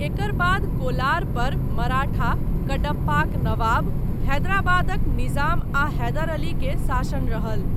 एकर बाद कोलार पर मराठा, कडप्पाक नवाब, हैदराबादक निजाम आ हैदर अली के शासन रहल।